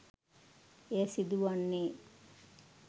එය සිදුවන්නේ